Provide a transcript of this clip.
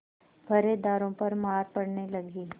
पहरेदारों पर मार पड़ने लगी